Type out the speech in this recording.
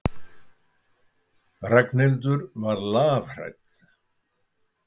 Ragnhildur var lafhrædd.